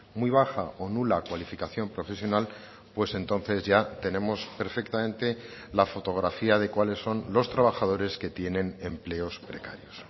muy baja o nula cualificación profesional pues entonces ya tenemos perfectamente la fotografía de cuáles son los trabajadores que tienen empleos precarios